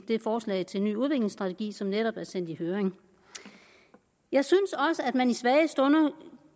det forslag til en ny udviklingsstrategi som netop er sendt i høring jeg synes også at man i svage stunder